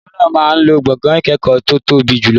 Olùkọ́ náà máa lo gbọ̀ngàn ìkẹ́kọ̀ọ́ tó tóbi jùlọ.